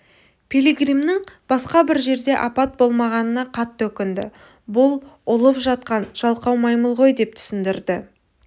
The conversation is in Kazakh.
пилигримнің басқа бір жерде апат болмағанына қатты өкінді бұл ұлып жатқан жалқау маймыл ғой деп түсіндірді